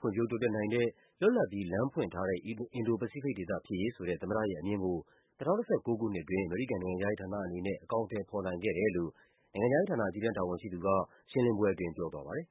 ဖွံ့ဖြိုး တိုးတက်နိုင် တဲ့၊ လွတ်လပ်ပြီး လမ်းဖွင့်ထားတဲ့ အင်ဒို-ပစိဖိတ်ဒေသဖြစ်ရေးဆိုတဲ့ သမ္မတရဲ့အမြင်ကို ၂၀၁၉ ခုနှစ်အတွင်း အမေရိကန်နိုင်ငံ ခြားရေးဌာနအနေနဲ့ အကောင်အထည်ဖော်နိုင်ခဲ့တယ်လို့ နိုင်ငံခြားရေးဌာန အကြီးတန်းတာဝန်ရှိသူက ရှင်းလင်းပွဲအတွင်း ပြောသွားပါတယ်။